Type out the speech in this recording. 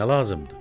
Nəyinə lazımdır?